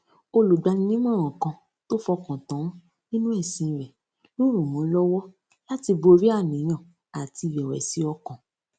olùgbaninímòràn kan tó fọkàn tán nínú èsìn rè ló ràn án lówó láti borí àníyàn àti ìrèwèsì ọkàn